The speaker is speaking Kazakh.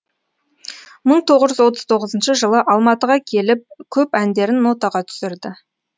мың тоғыз жүз отыз тоғызыншы жылы алматыға келіп көп әндерін нотаға түсірді